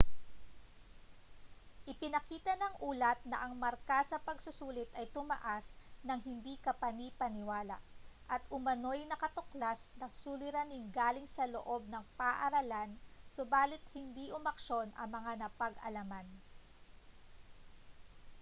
ipinakita ng ulat na ang marka sa pagsusulit ay tumaas nang hindi kapani-paniwala at umanoy nakatuklas ng suliraning galing sa loob ng paaralan subalit hindi umaksyon sa mga napag-alaman